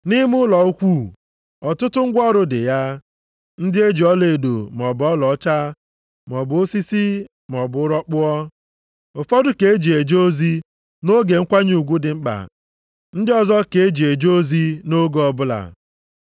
Nʼime ụlọ ukwuu, ọtụtụ ngwa ọrụ dị ya, ndị e ji ọlaedo maọbụ ọlaọcha, maọbụ osisi maọbụ ụrọ kpụọ. Ụfọdụ ka e ji eje ozi nʼoge nkwanye ugwu dị mkpa, ndị ọzọ ka e ji eje ozi nʼoge ọbụla.